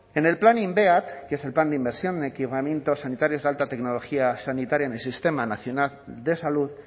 en el plan inveat que es el plan de inversión en equipamientos sanitarios de alta tecnología sanitaria en el sistema nacional de salud